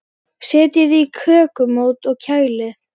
Setjið í kökumót og kælið.